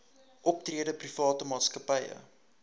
optrede private maatskappye